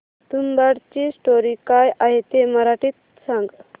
तुंबाडची स्टोरी काय आहे ते मराठीत सांग